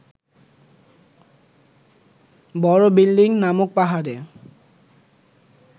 বড় বিল্ডিং নামক পাহাড়ে